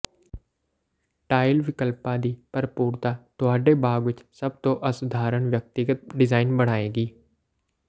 tile ਵਿਕਲਪਾਂ ਦੀ ਭਰਪੂਰਤਾ ਤੁਹਾਡੇ ਬਾਗ ਵਿੱਚ ਸਭ ਤੋਂ ਅਸਧਾਰਨ ਵਿਅਕਤੀਗਤ ਡਿਜ਼ਾਇਨ ਬਣਾਏਗੀ